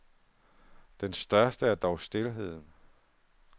Den største er dog stilheden.